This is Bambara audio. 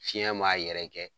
Fiɲɛ m'a yɛrɛkɛ